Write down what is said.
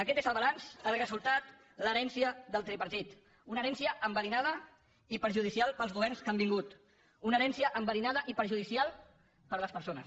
aquest és el balanç el resultat l’herència del tripartit una herència enverinada i perjudicial per als governs que han vingut una herència enverinada i perjudicial per a les persones